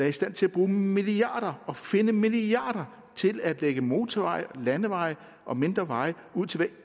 i stand til at bruge milliarder og finde milliarder til at lægge motorveje landeveje og mindre veje ud til hvert